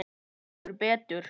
Heldur betur!